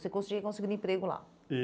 Você conseguiria conseguir emprego lá?